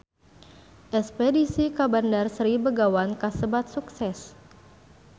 Espedisi ka Bandar Sri Begawan kasebat sukses